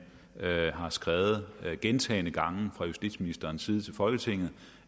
har skrevet gentagne gange fra justitsministerens side til folketinget